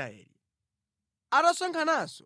Aisraeli atasonkhananso,